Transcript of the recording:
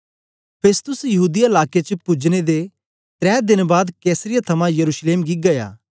Festus यहूदीया लाके च पुजने दे त्रै देन बाद कैसरिया थमां यरूशलेम गी गीया